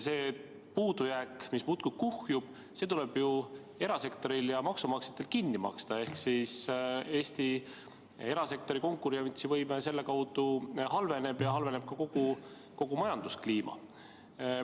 See puudujääk, mis muudkui kuhjub, tuleb ju erasektoril ja maksumaksjatel kinni maksta ehk Eesti erasektori konkurentsivõime seetõttu halveneb ja halveneb ka kogu majanduskliima.